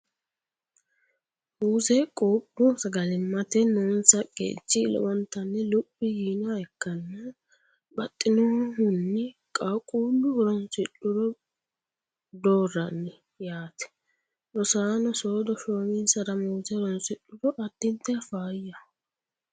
Muuze quuphu sagalimmate noonsa qeechi lowontanni luphi yiinoha ikkanna baxxinohunni qaaqquullu horoonsidhuro doorranni yaate. Rosaano soodo shoominsara muuze horoonsidhuro addintanni faayyaho.